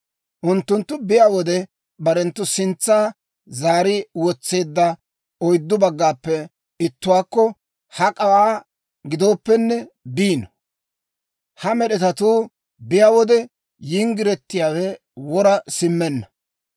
Unttunttu biyaa wode barenttu sintsa zaari wotseedda oyddu baggaappe ittuwaakko hak'awaa gidooppenne biino; ha med'etatuu biyaa wode yinggiretiyaawe wora simmenna.